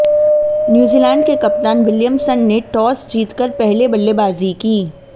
New Zealand के कप्तान Williamson ने टॉस जीत कर पहले बल्लेबाजी की